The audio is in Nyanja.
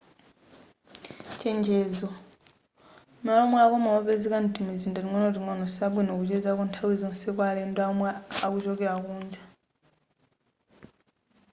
chenjezo malo omwerako mowa opezeka mtimizinda ting'onoting'ono siabwino kuchezako nthawi zonse kwa alendo omwe akuchokera kunja